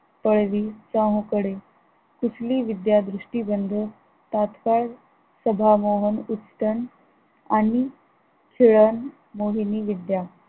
पळवी त्याहुकडे कुठली विद्या दृष्टी बंधु तात्कळ स्वभाव न उष्ट्ण आणि शीलन मोहिनी विद्या